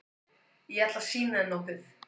Ég ætla að sýna þér nokkuð.